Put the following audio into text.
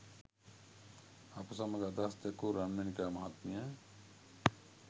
අප සමග අදහස් දැක්වූ රන්මැණිකා මහත්මිය